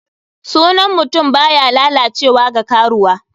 Sunan mutum baya lalacewa ga karuwa.